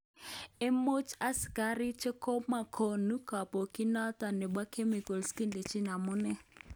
Imuch asikarik chekopokoni kobokyinoton nebo chemicals kidechi amune.